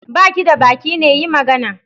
Ba ki da baki ne? yi magana